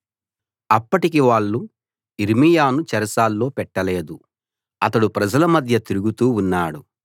అప్పటికి వాళ్ళు యిర్మీయాను చెరసాల్లో పెట్టలేదు అతడు ప్రజల మధ్య తిరుగుతూ ఉన్నాడు